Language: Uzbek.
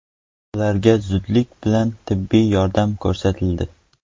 Ularga zudlik bilan tibbiy yordam ko‘rsatildi.